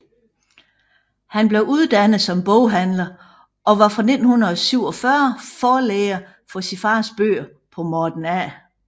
Han blev uddannet som boghandler og var fra 1947 forlægger for sin fars bøger på Morten A